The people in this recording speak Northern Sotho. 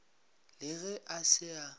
le ge a se a